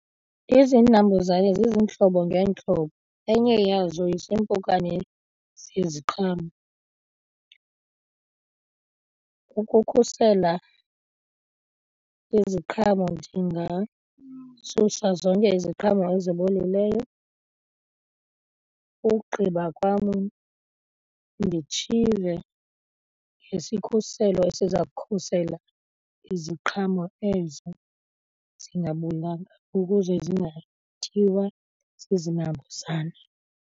Izinambuzane zizintlobo ngeentlobo, enye yazo ziimpukane zeziqhamo. Ukukhusela iziqhamo ndingasusa zonke iziqhamo ezibolileyo ukugqiba kwam nditshize ngesikhuselo esiza kukhusela iziqhamo ezo zingabolanga ukuze zingatyiwa zizinambuzane.